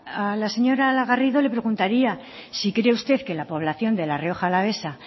a la señora garrido le preguntaría si cree usted que la población de la rioja alavesa